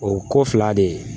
O ko fila de